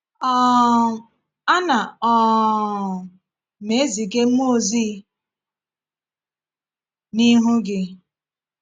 um “Ana um m eziga mmụọ ozi n’ihu gị.”